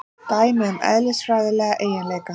Dæmi um eðlisfræðilega eiginleika.